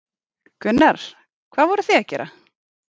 Gunnar: Hvað voruð þið að gera?